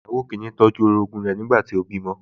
Ìyàwó kìíní tọ́jú orogún rẹ̀ nígbà tí ó bímọ